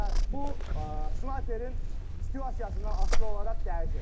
Bu snayperin situasyasından asılı olaraq dəyişir.